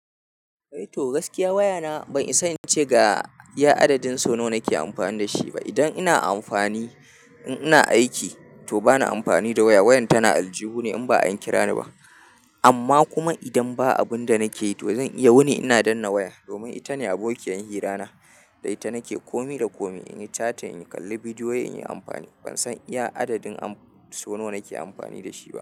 To gaskiya waya na ban isa in ce ga iya adadin so nawa nake amfani da shi ba. Idan ina amfani, in ina aiki to bana amfani da waya. Wayan tana aljihu ne in ba an kira ni ba. Amma kuma idan ba abunda nake yi to zan iya wuni ina danna waya domin ita ne abokiyar hira na, da ita nake komi da komi, in yi chating, in kalli bidiyo, in yi amfani. Ban san iya adadin so nawa nake amfani da shi ba.